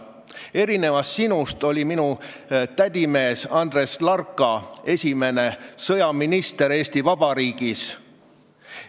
Erinevalt sinust oli minu tädimees Andres Larka esimene sõjaminister Eesti Vabariigis.